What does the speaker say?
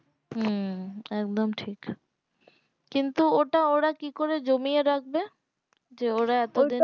হম একদম ঠিক কিন্তু তোর ওটা কি করে জমিয়ে রাখবে যে ওরা এতদিন